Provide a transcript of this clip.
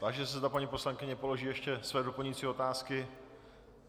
Táži se, zda paní poslankyně položí ještě své doplňující otázky.